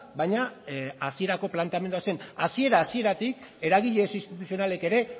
baina hasierako planteamendu zen hasiera hasieratik eragile ez instituzionalek ere